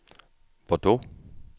Bordeaux